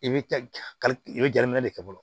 I bɛ kali i bɛ jateminɛ de kɛ fɔlɔ